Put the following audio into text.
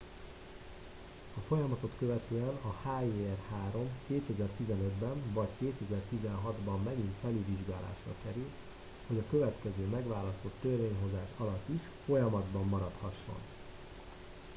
a folyamatot követően a hjr-3 2015 ben vagy 2016 ban megint felülvizsgálásra kerül hogy a következő megválasztott törvényhozás alatt is folyamatban maradhasson